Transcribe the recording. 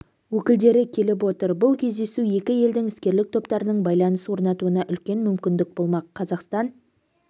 өкілдері келіп отыр бұл кездесу екі елдің іскерлік топтарының байланыс орнатуына үлкен мүмкіндік болмақ қазақстан